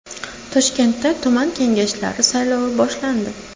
Toshkentda tuman kengashlari saylovi boshlandi.